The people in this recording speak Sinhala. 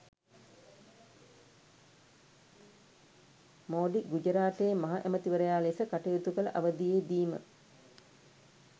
මෝඩි ගුජරාටයේ මහ ඇමතිවරයා ලෙස කටයුතු කළ අවදියේදීම